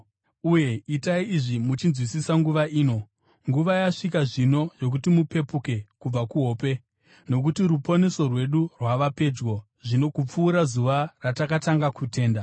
Uye itai izvi, muchinzwisisa nguva ino. Nguva yasvika zvino yokuti mupepuke kubva kuhope, nokuti ruponeso rwedu rwava pedyo zvino kupfuura zuva ratakatanga kutenda.